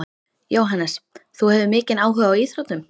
Jóhannes: Þú hefur mikinn áhuga á íþróttum?